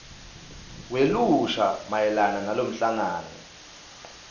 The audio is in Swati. welusha mayelana nalomhlangano